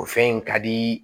O fɛn in ka di